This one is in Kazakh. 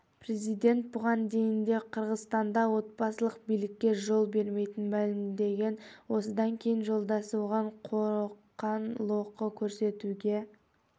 президент бұған дейін де қырғызстанда отбасылық билікке жол бермейтінін мәлімдеген осыдан кейін жолдасы оған қоқан-лоқы көрсетуге